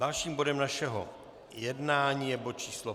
Dalším bodem našeho jednání je bod číslo